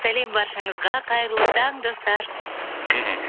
сәлем баршаңызға қайырлы таң достар мхм